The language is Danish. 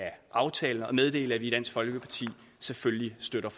aftalen og meddele at vi i dansk folkeparti selvfølgelig støtter